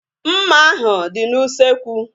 Mma ahu dị n'usekwu